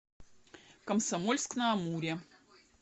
комсомольск на амуре